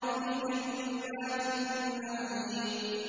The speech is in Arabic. فِي جَنَّاتِ النَّعِيمِ